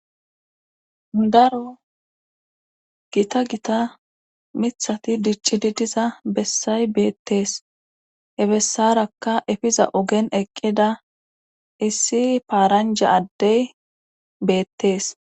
Daro gita gita mithati dicci di diza bessay beettees he bessarakka efiza ogen eqqida issi paaranja addey beettees